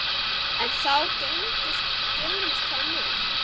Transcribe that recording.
Enn þá geymist það mér.